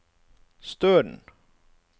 Støren